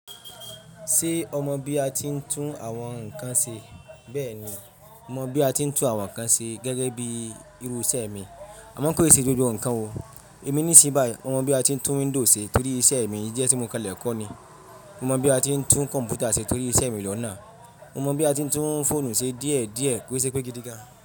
Ṣé ọ mọ bí a ti ń tún àwọn nǹkan ṣe? Bẹ́ẹ̀ni, mọ bí a ti ń tún àwọn nǹkan ṣe gẹ́gẹ́ bí irú iṣẹ́ mi, àmọ́ kò ì ṣe gbogbo nǹkan o. Èmi nísìnyí báyìí mo mọ bí a ti ń tún window ṣe torí iṣẹ́ mi ísẹ̀ tí mo kan lẹ̀ kọ́ ni. Mo mọ bí a ti ń tún kọ̀m̀pútà ṣe torí iṣẹ́ mi lọ́nà. Mo mọ bí a ti ń tún fóònù ṣe díẹ̀ díẹ̀ kó ṣe pé gidi gan.